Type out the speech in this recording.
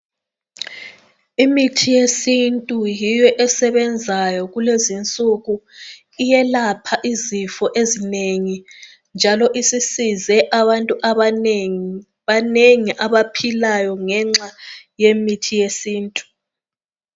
Imithi yesintu yiyo esebenzayo kulezi insuku iyelapha izifo ezinengi, njalo isisize abantu abanengi, banengi abaphilayo ngenxa yemithi yesintu.